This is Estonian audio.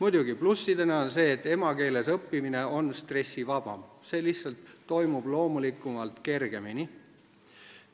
Üks pluss on muidugi see, et emakeeles õppimine on stressivabam – see lihtsalt toimub loomulikumalt, kergemini.